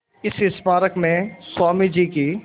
इस स्मारक में स्वामी जी की